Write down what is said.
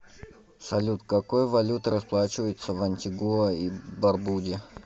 салют какой валютой расплачиваются в антигуа и барбуде